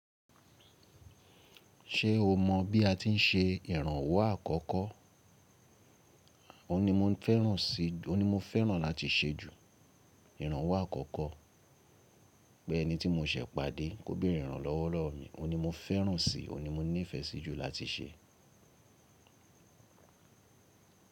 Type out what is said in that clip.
Ṣé o mọ bí a ti ń se ìrànwọ́ àkọ́kọ́? Ó ní mo fẹ́ràn láti ṣe ju ìrànwọ́ àkọ́kọ́. Bẹ́ẹ̀ ni tí mo ṣẹ̀ pàdé kò béèrè ìrànlọ́wọ́ lọ́rùn mí. Ó ní mo fẹ́ràn si, ó ní mo nífẹ̀ẹ́ sí jù láti ṣe.